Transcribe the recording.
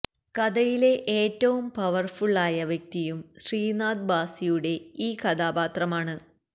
കഥയിലെ ഏറ്റവും പവര്ഫുള് ആയ വ്യക്തിയും ശ്രീനാഥ് ഭാസിയുടെ ഈ കഥാപാത്രമാണ്